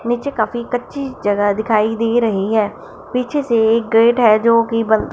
नीचे काफी कच्ची जगह दिखाई दे रही है पीछे से एक गेट है जो कि बंद--